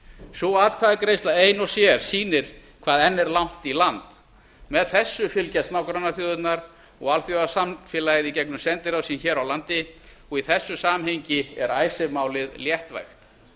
sú atkvæðagreiðsla ein og sér sýnir hvað enn er langt í land með þessu fylgjast nágrannaþjóðirnar og alþjóðasamfélagið í gegnum sendiráð sín hér á landi og í þessu samhengi er icesave máli léttvægt